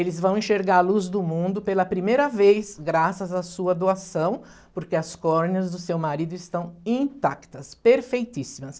Eles vão enxergar a luz do mundo pela primeira vez, graças à sua doação, porque as córneas do seu marido estão intactas, perfeitíssimas.